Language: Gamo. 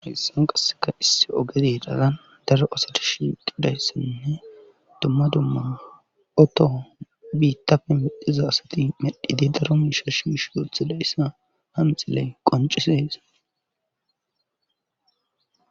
Hissan qasseka isse ogede dhagan daro asati shiqidayssenne dumma dumma oto biittapfe midhiza asati medhide daro miisha shish dothila yssa hanxiley qoncisehesa.